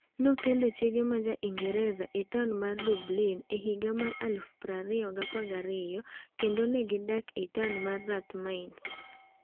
Nokendo chiege ma Ja-Ingresa e taon mar Dublin e higa mar 2012 kendo ne gidak e taon mar Rathmines.